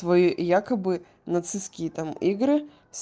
твои якобы нацистские там игры